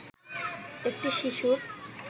একটি শিশুর